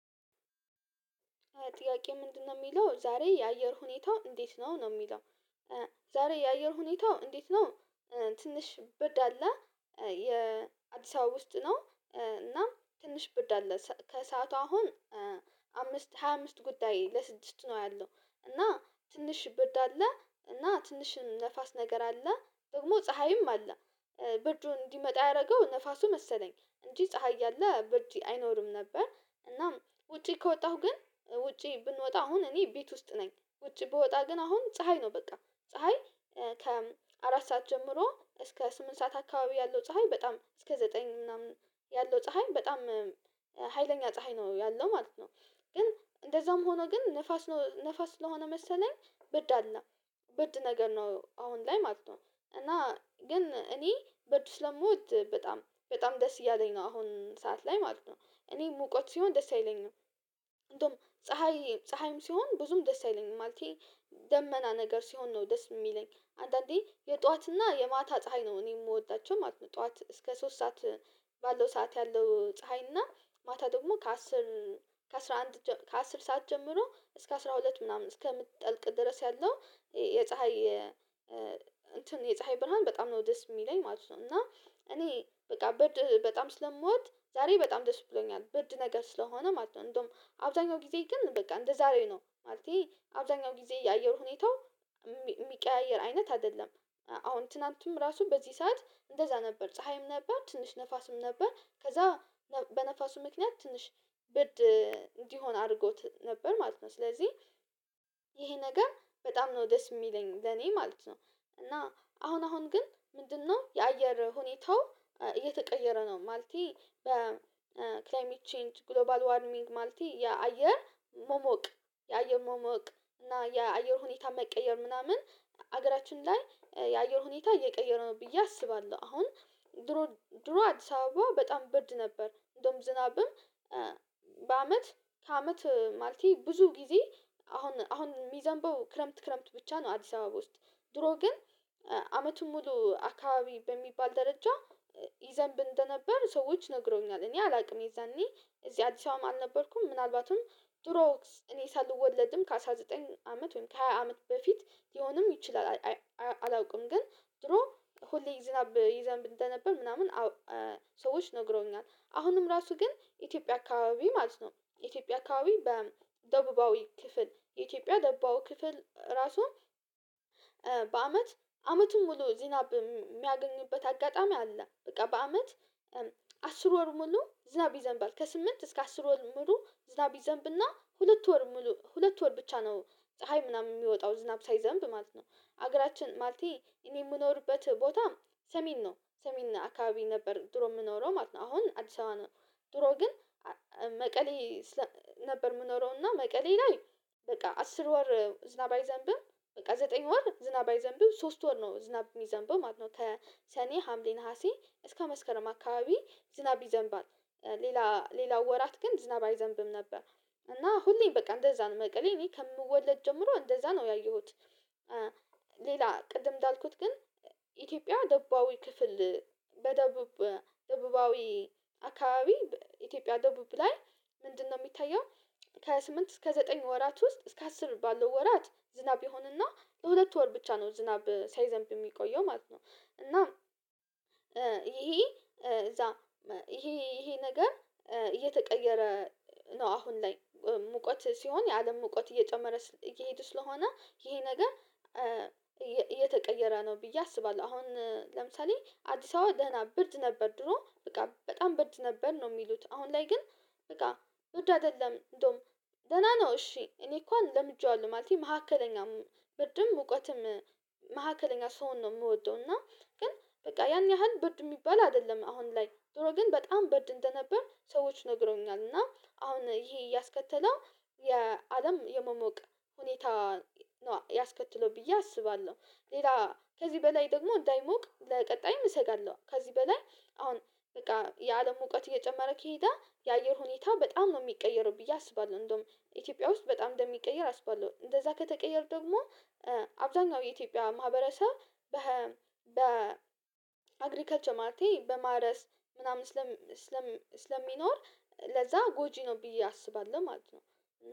ጥያቄ ምንድነው የሚለው ዛሬ የአየር ሁኔታው እንዴት ነው ነው የሚለው? ዛሬ የአየር ሁኔታው እንዴት ነው? ትንሽ ብርድ አለ የአዲስ አበባ ውስጥ ነው። እና ትንሽ ብርድ አለ ከሰአቱ አሁን አምስት ሃያ አምስት ጉዳይ ለስድስት ነው ያለው እና ትንሽ ብርድ አለ እና ትንሽም ንፋስ ነገር አለ ደግሞ ፀሀይም አለ ብርዱን እንዲመጣ ያረገው ንፋሱ መሰለኝ እንጂ ፀሀይ እያለ ብርድ አይኖርም ነበር። እናም ውጪ ከወጣሁ ግን ውጪ ብንወጣ አሁን እኔ ቤት ውስጥ ነኝ ውጪ ብወጣ ግን አሁን ፀሀይ ነው። በቃ ፀሀይ ከአራት ሰዓት ጀምሮ እስከ ስምንት ሰዓት አካባቢ ያለው ፀሀይ በጣም እስከ ዘጠኝ ምናምን ያለው ፀሀይ በጣም ሀይለኛ ፀሀይ ነው ያለው ማለት ነው። ግን እንደዛውም ሆኖ ግን ንፋስ ነው ንፋስ ስለሆነ መሰለኝ ብርድ አለ። ብርድ ነገር ነው አሁን ላይ ማለት ነው። እና ግን እኔ ብርድ ስለምወድ በጣም በጣም ደስ እያለኝ ነው አሁን ሰዓት ላይ ማለት ነው። እኔ ሙቀት ሲሆን ደስ አይለኝም እንደውም ፀሀይም ሲሆን ብዙም ደስ አይለኝም ማለቴ ደመና ነገር ሲሆን ነው ደስ እሚለኝ አንዳንዴ የጧዋትና የማታ ፀሀይ ነው እኔ የምወዳቸው ማለት ነው። ጠዋት እስከ ሶስት ሰዓት ባለው ሰዓት ያለው ፀሀይ ማታ ደግሞ ከ አስር ከአስራ አንድ ከአስር ሰዓት ጀምሮ እስከ አስራ ሁለት ምናምን እስከምትጠልቅ ድረስ ያለው የፀሀይ የፀሀይ ብርሃን በጣም ነው ደስ የሚለኝ ማለት ነው። እና እኔ በቃ ብርድ በጣም ስለምወድ ዛሬ በጣም ደስ ብሎኛል ብርድ ነገር ስለሆነ ማለት ነው እንደውም አብዛኛው ጊዜ ግን በቃ እንደዛሬ ነው ማለቴ አብዛኛው ጊዜ የአየር ሁኔታው የሚቀያየር አይነት አይደለም። አሁን ትናንትም ራሱ በዚህ ሰዓት እንደዛ ነበር ፀሀይም ነበር ትንሽ ንፋስም ነበር ከዛ በንፋሱ ምክንያት ትንሽ ብርድ እንዲሆን አርጎት ነበር ማለት ነው ስለዚህ ይሄ ነገር በጣም ነው ደስ እሚለኝ ለኔ ማለት ነው። እና አሁን አሁን ግን ምንድነው የአየር ሁኔታው እየተቀየረ ነው? ማለቴ በክላይሜት ቼንጅ ግሎባል ዋርሚንግ ማልቴ የአየር መሞቅ የአየር መሞቅ እና የአየር ሁኔታ መቀየር ምናምን ሀገራችን ላይ የአየር ሁኔታ እየቀየረ ነው ብዬ አስባለሁ። አሁን ድሮ ድሮ አዲስ አበባ በጣም ብርድ ነበር እንደውም ዝናብም በአመት ከአመት ማለቴ ብዙ ጊዜ አሁን አሁን ሚዘንበው ክረምት ክረምት ብቻ ነው። አዲስ አበባ ውስጥ ድሮ ግን አመቱን ሙሉ አካባቢ በሚባል ደረጃ ይዘንብ እንደነበር ሰዎች ነግረዉኛል እኔ አላውቅም የዛኔ እዚህ አዲስ አበባ አልነበርኩም ምናልባትም ደሮክስ እኔ ሳልወለድም ከ አስራ ዘጠኝ አመት ወይም ከሃያ አመት በፊት ሊሆንም ይችላል። አላውቅም ግን ድሮ ሁሌ ዝናብ ይዘንብ እንደነበር ምናምን ሰዎች ነግረዉኛል አሁንም ራሱ ግን ኢትዮጵያ አካባቢ ማለት ነው። ኢትዮጵያ አካባቢ በደቡባዊ ክፍል የኢትዮጵያ ደቡባዊ ክፍል ራሱ በአመት አመቱን ሙሉ ዝናብ የሚያገኙበት አጋጣሚ አለ በቃ በአመት አስር ወር ሙሉ ዝናብ ይዘንብባል ከስምንት እስከ አስር ወር ሙሉ ዝናብ ይዘንብና ሁለት ወር ሙሉ ሁለት ወር ብቻ ነው። ፀሀይ ምናምን የሚወጣው ዝናብ ሳይዘንብ ማለት ነው። ሀገራችን ማለቴ እኔ የምኖርበት ቦታ ሰሜን ነው ሰሜን አካባቢ ነበር ድሮ የምኖረው ማለት ነው አሁን አዲስ አበባ ነው። ድሮ ግን መቀሌ ነበር የምኖረው እና መቀሌ ላይ በቃ አስር ወር ዝናብ አይዘንብም በቃ ዘጠኝ ወር ዝናብ አይዘንብም ሶስት ወር ነው ዝናብ የሚዘንብም ማለት ነው። ከ ሰኔ ሀምሌ ነሀሴ እስከ መስከረም አካባቢ ዝናብ ይዘንባል ሌላ ሌላው ወራት ግን ዝናብ አይዘንብም ነበር። እና ሁሌም በቃ እንደዛ ነው መቀሌ እኔ ከምወለድ ጀምሮ እንደዛ ነው ያየሁት። ሌላ ቅድም እንዳልኩት ግን ኢትዮጵያ ደቡባዊ ክፍል በደቡብ ደቡባዊ አካባቢ ኢትዮጵያ ደቡብ ላይ ምንድነው የሚታየው? ከ ስምንት እስከ ዘጠኝ ወራት ውስጥ እስከ አስር ባለው ወራት ዝናብ ይሆንና ለሁለት ወር ብቻ ነው ዝናብ ሳይዘንብ የሚቆየው ማለት ነው። እና ይሄ እዛ ይሄ ይሄ ነገር እየተቀየረ ነው አሁን ላይ ሙቀት ሲሆን የአለም ሙቀት እየጨመረ እየሄዱ ስለሆነ ይሄ ነገር እየተቀየረ ነው ብዬ አስባለሁ። አሁን ለምሳሌ አዲስ አበባ ደህና ብርድ ነበር ድሮ በቃ በጣም ብርድ ነበር ነው የሚሉት አሁን ላይ ግን በቃ ብርድ አይደለም። እንደውም ደህና ነው እሺ እኔ እንኳን ለምጄዋለሁ ማለቴ መካከለኛም ብርድም ሙቀትም መካከለኛ ስሆን ነው እምወደው። እና ግን በቃ ያን ያህል ብርድ የሚባል አይደለም አሁን ላይ ድሮ ግን በጣም ብርድ እንደነበር ሰዎች ነግረውኛል። እና አሁን ይሄ ያስከተለው የአለም የመሞቅ ሁኔታ ነው ያስከትለው ብዬ አስባለሁ። ሌላ ከዚህ በላይ ደግሞ እንዳይሞቅ ለቀጣይም እሰጋለሁ ከዚህ በላይ አሁን በቃ የአለም ሙቀት እየጨመረ ከሄደ የአየር ሁኔታ በጣም ነው የሚቀየረው ብዬ አስባለሁ። እንደውም ኢትዮጵያ ውስጥ በጣም እንደሚቀየር አስባለሁ እንደዛ ከተቀየር ደግሞ አብዛኛው የኢትዮጵያ ማህበረሰብ በ በ በአግሪካልቸር ማለቴ በማረስ ምናምን ስለሚኖር ለዛ ጎጂ ነው ብዬ አስባለሁ። ማለት ነው።